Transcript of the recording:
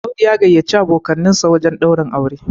Audu ya gayyaci abokansa wajen daurin aure